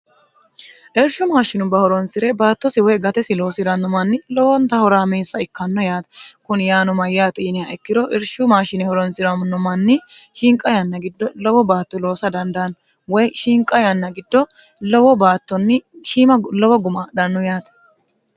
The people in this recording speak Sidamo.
eershu maashinubba horonsi're baattosi woy gatesi loosi'ranno manni lowonta horaamiissa ikkanno yaate kuni yaano mayyaa xiiniha ikkiro irshu maashine horonsi'ramno manni shiinqa yanna giddo lowo baatto loosa dandaanno woy shinqa yanna giddo lowo baattonni shiima lowo guma dhannu yaate